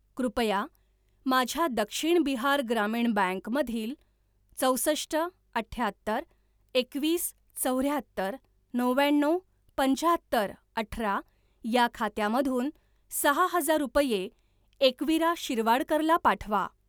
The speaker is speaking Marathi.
कृपया माझ्या दक्षिण बिहार ग्रामीण बँक मधील चौसष्ट अठ्याहत्तर एकवीस चौऱ्याहत्तर नव्याण्णव पंच्याहत्तर अठरा या खात्यामधून सहा हजार रुपये एकवीरा शिरवाडकर ला पाठवा.